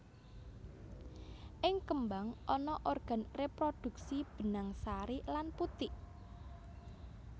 Ing kembang ana organ reprodhuksi benang sari lan putik